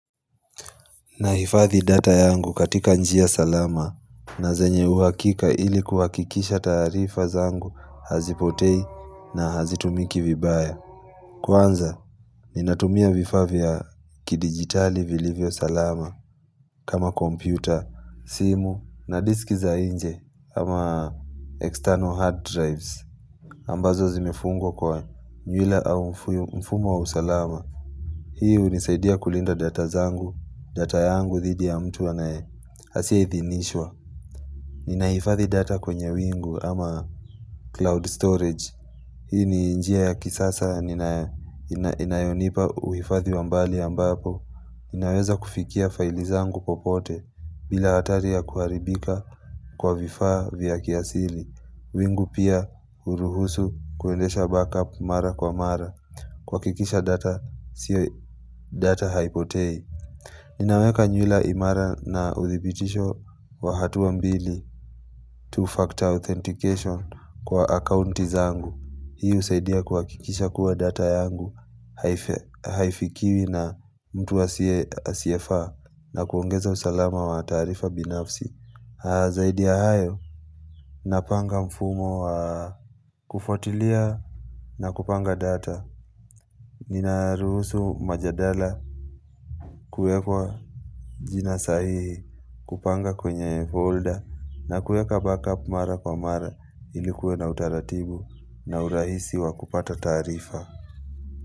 Na hifadhi data yangu katika njia salama na zenye uhakika ili kuhakikisha taarifa zangu hazipotei na hazitumiki vibaya. Kwanza, ninatumia vifaa vya kidigitali vilivyo salama kama kompyuta, simu na disk za inje ama external hard drives. Ambazo zimefungwa kwa nywila au mfuyu mfumo wa usalama. Hii hunisaidia kulinda data zangu, data yangu dhidi ya mtu anae, asiyeidhinishwa. Ninahifathi data kwenye wingu ama cloud storage. Hii ni njia ya kisasa ninayo inayonipa uhifathi wambali ambapo. Ninaweza kufikia file zangu popote bila hatari ya kuharibika kwa vifaa vya kiasili. Wingu pia huruhusu kuendesha backup mara kwa mara. Kuhakikisha data, siyo data haipotei Ninaweka nyula imara na uthibitisho wa hatuwa mbili Two-factor authentication kwa akaunti zangu Hii husaidia kuhakikisha kuwa data yangu hai Haifikiwi na mtu asiyefaa na kuongeza usalama wa taarifa binafsi Zaidi ya hayo, napanga mfumo wa kufuatilia na kupanga data Nina ruhusu majadala kuekwa jina sahihi kupanga kwenye folder na kueka backup mara kwa mara ilikuwa na utaratibu na urahisi wa kupata taarifa.